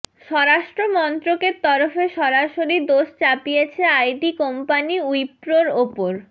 স্বরাষ্ট্রমন্ত্রকের তরফে সরসারি দোষ চাপিয়েছে আইটি কোম্পানি উইপ্রোর ওপর